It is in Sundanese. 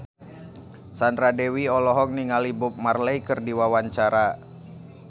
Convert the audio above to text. Sandra Dewi olohok ningali Bob Marley keur diwawancara